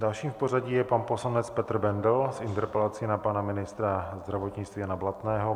Dalším v pořadí je pan poslanec Petr Bendl s interpelací na pana ministra zdravotnictví Jana Blatného.